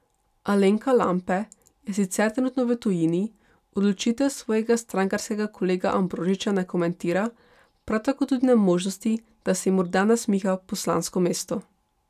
Alenka Lampe je sicer trenutno v tujini, odločitev svojega strankarskega kolega Ambrožiča ne komentira, prav tako tudi ne možnosti, da se ji morda nasmiha poslansko mesto.